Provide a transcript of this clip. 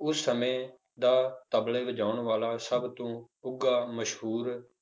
ਉਸ ਸਮੇਂ ਦਾ ਤਬਲੇ ਵਜਾਉਣ ਵਾਲਾ ਸਭ ਤੋਂ ਉੱਘਾ ਮਸ਼ਹੂਰ